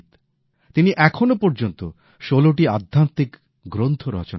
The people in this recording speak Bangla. তিনি এখনো পর্যন্ত প্রায় ১৬ টি আধ্যাত্মিক গ্রন্থ রচনা করেছেন